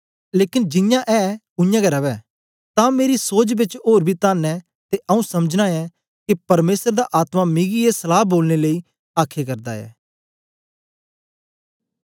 लेकन जियां ऐ उयांगै रवै तां मेरी सोच बेच ओर बी तन्न ऐ ते आऊँ समझना ऐं के परमेसर दा आत्मा मिगी ए सलहा बोलने लेई आखे करदा ऐ